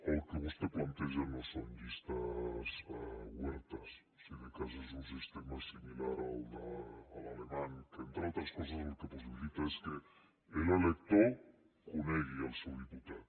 el que vostè planteja no són llistes obertes si de cas és un sistema similar a l’alemany que entre altres coses el que possibilita és que l’elector conegui el seu diputat